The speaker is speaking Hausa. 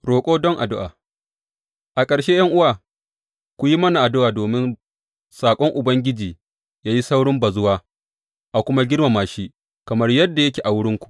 Roƙo don addu’a A ƙarshe, ’yan’uwa, ku yi mana addu’a domin saƙon Ubangiji yă yi saurin bazuwa a kuma girmama shi, kamar yadda yake a wurinku.